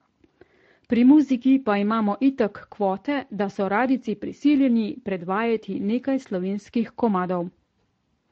Pri muziki pa imamo itak kvote, da so radijci prisiljeni predvajati nekaj slovenskih komadov.